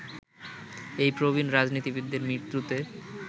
এই প্রবীণ রাজনীতিবিদের মৃত্যুতে